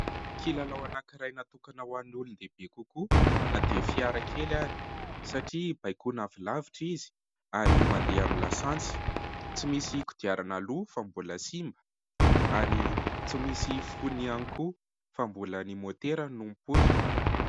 Kilalao anankiray natokana ho any olondehibe kokoa na dia fiara kely ary satria baikona avy lavitra izy ary mandeha amin'ny lasantsy, tsy misy kodiarana aloha fa mbola simba ary tsy misy fonony ihany koa fa mbola ny môtera no mipoitra.